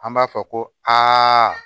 An b'a fɔ ko aa